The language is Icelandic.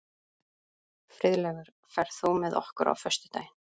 Friðleifur, ferð þú með okkur á föstudaginn?